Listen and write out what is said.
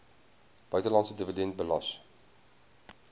buitelandse dividend belas